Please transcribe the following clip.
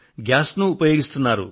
gas నూ ఉపయోగిస్తున్నారు